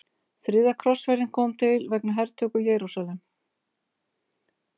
Þriðja krossferðin kom til vegna hertöku Jerúsalem.